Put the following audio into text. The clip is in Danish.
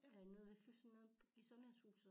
Ringede ved fyssen nede i sundhedshuset